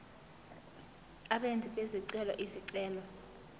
abenzi bezicelo izicelo